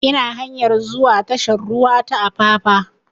Ina hanyar zuwa tashar ruwa ta apapa